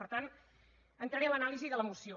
per tant entraré en l’anàlisi de la moció